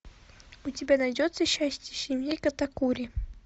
у тебя найдется счастье семьи катакури